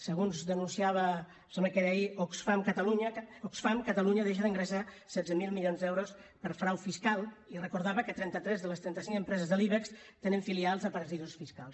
segons denunciava em sembla que era ahir oxfam catalunya deixa d’ingressar setze mil milions d’euros per frau fiscal i recordava que trenta tres de les trenta cinc empreses de l’ibex tenen filials a paradisos fiscals